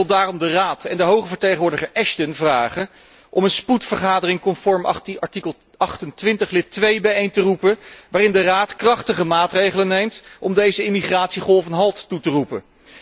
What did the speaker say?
Ik wil daarom de Raad en de hoge vertegenwoordiger Ashton vragen om een spoedvergadering conform artikel 28, lid 2, bijeen te roepen, waarin de Raad krachtige maatregelen neemt om deze immigratiegolf een halt toe te roepen.